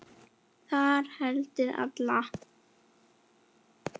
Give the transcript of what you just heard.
Það hendir alla